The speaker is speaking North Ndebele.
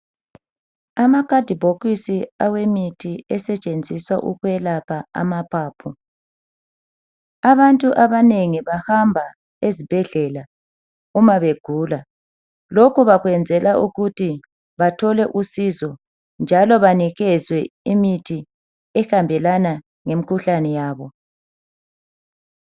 Amakhadibhokisi awemithi esetshenziswa ukwelapha amaphaphu. Abantu abanengi bahamba ezibhedlela uma begula. Lokhu bakwenzela ukuthi bathole usizo njalo banikezwe imithi ehambelana lemkhuhlane yabo.